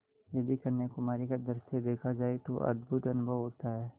यदि कन्याकुमारी का दृश्य देखा जाए तो अद्भुत अनुभव होता है